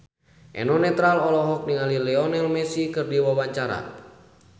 Eno Netral olohok ningali Lionel Messi keur diwawancara